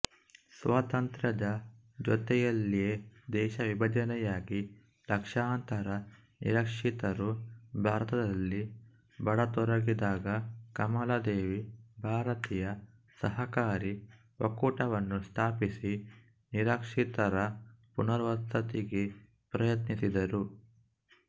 ಸ್ವಾತಂತ್ರ್ಯದ ಜೊತೆಯಲ್ಲಿಯೇ ದೇಶವಿಭಜನೆಯಾಗಿ ಲಕ್ಷಾಂತರ ನಿರಾಶ್ರಿತರು ಭಾರತದಲ್ಲಿ ಬರತೊಡಗಿದಾಗ ಕಮಲಾದೇವಿ ಭಾರತೀಯ ಸಹಕಾರಿ ಒಕ್ಕೂಟವನ್ನು ಸ್ಥಾಪಿಸಿ ನಿರಾಶ್ರಿತರ ಪುನರ್ವಸತಿಗೆ ಪ್ರಯತ್ನಿಸಿದರು